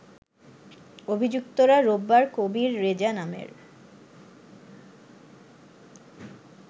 অভিযুক্তরা রোববার কবির রেজা নামের